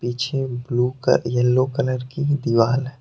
पीछे blue colour yellow colour की दीवार है।